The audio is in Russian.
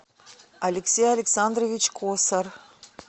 алексей александрович косар